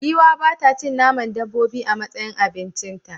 Giwa ba ta cin naman dabbobi a matsayin abincita.